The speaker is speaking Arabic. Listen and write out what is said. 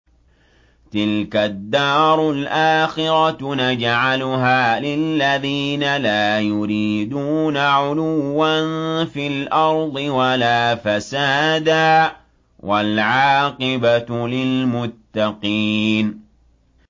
تِلْكَ الدَّارُ الْآخِرَةُ نَجْعَلُهَا لِلَّذِينَ لَا يُرِيدُونَ عُلُوًّا فِي الْأَرْضِ وَلَا فَسَادًا ۚ وَالْعَاقِبَةُ لِلْمُتَّقِينَ